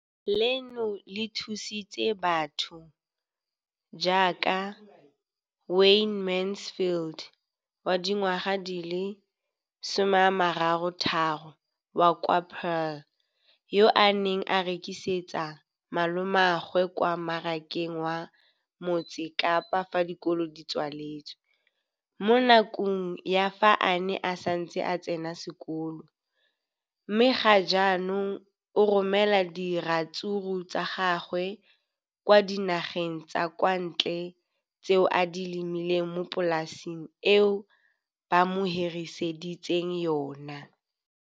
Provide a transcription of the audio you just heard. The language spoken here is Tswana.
leno le thusitse batho ba ba jaaka Wayne Mansfield, 33, wa kwa Paarl, yo a neng a rekisetsa malomagwe kwa Marakeng wa Motsekapa fa dikolo di tswaletse, mo nakong ya fa a ne a santse a tsena sekolo, mme ga jaanong o romela diratsuru tsa gagwe kwa dinageng tsa kwa ntle tseo a di lemileng mo polaseng eo ba mo hiriseditseng yona.